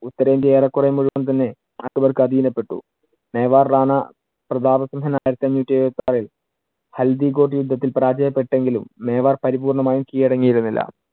ഉത്തരേന്ത്യ ഏറെക്കുറെ മുഴുവൻ തന്നെ അക്ബർക്ക് അധീന പെട്ടു. മേവാര്‍ റാണാ പ്രതാപസിംഹന്‍ ആയിരത്തി അഞ്ഞൂറ്റി എഴുപത്തിയാറിൽ ഹൽദിഗോഡ് യുദ്ധത്തിൽ പരാജയപ്പെട്ടെങ്കിലും മേവാർ പരിപൂർണമായും കിഴടങ്ങിയിരുന്നില്ല.